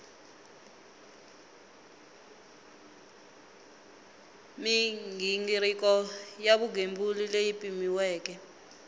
mighingiriko ya vugembuli leyi pimiweke